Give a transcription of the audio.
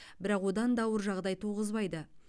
бірақ одан да ауыр жағдай туғызбайды